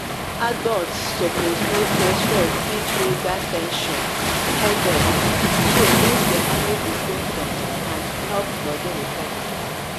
adults suppose know say stress fit trigger ten sion headache so make dem manage di symptoms and help body recover.